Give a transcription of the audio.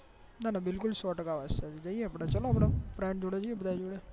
ના ના બિલકુલ સો ટકા વાત સાચી ચાલો અપડે જઈએ બધા